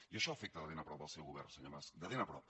i això afecta de ben a prop el seu govern senyor mas de ben a prop